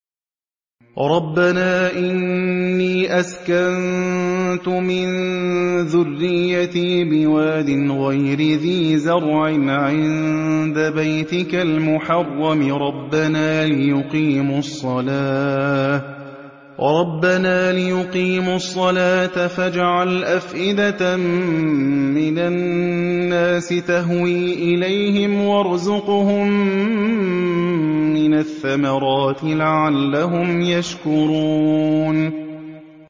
رَّبَّنَا إِنِّي أَسْكَنتُ مِن ذُرِّيَّتِي بِوَادٍ غَيْرِ ذِي زَرْعٍ عِندَ بَيْتِكَ الْمُحَرَّمِ رَبَّنَا لِيُقِيمُوا الصَّلَاةَ فَاجْعَلْ أَفْئِدَةً مِّنَ النَّاسِ تَهْوِي إِلَيْهِمْ وَارْزُقْهُم مِّنَ الثَّمَرَاتِ لَعَلَّهُمْ يَشْكُرُونَ